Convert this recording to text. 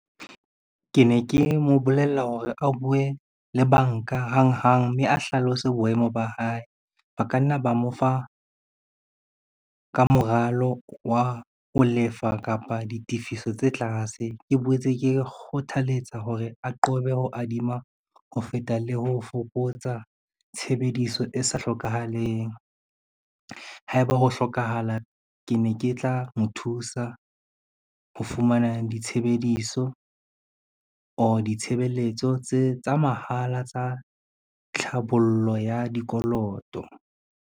Ke ne ke mo bolella hore a bue le banka hang hang, mme a hlalose boemo ba hae. Ba ka nna ba mo fa ka moralo wa ho lefa kapa ditifiso tse tlase. Ke boetse ke kgothaletsa hore a qobe ho adima ho feta le ho fokotsa tshebediso e sa hlokahaleng. Haeba ho hlokahala ke ne ke tla mo thusa ho fumana ditshebediso or ditshebeletso tsa mahala tsa tlhabollo ya dikoloto.